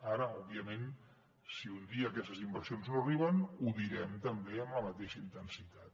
ara òbviament si un dia aquestes inversions no arriben ho direm també amb la mateixa intensitat